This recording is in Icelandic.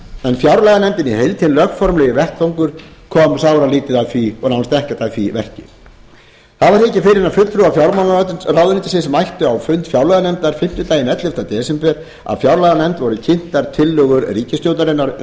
en fjárlaganefndin í heild hinn lögformlegi vettvangur kom sáralítið að því og nánast ekkert að því verki það var ekki fyrr en fulltrúar fjármálaráðuneytisins mættu á fund fjárlaganefndar fimmtudaginn ellefta desember að fjárlaganefnd voru kynntar tillögur ríkisstjórnarinnar